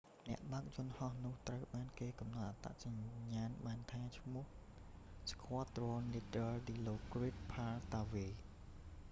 អ្នកបើកយន្តហោះនោះត្រូវបានគេកំណត់អត្តសញ្ញាណបានថាឈ្មោះ squadron leader dilokrit pattavee